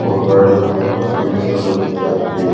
और गाड़िया यह सर्विस करने के लिए आती है।